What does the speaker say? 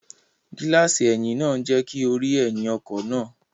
Gíláàsì ẹ̀yìn náà ń jẹ́ kí o rí ẹ̀yìn ọkọ̀ náà